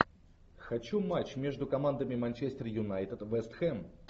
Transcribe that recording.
хочу матч между командами манчестер юнайтед вест хэм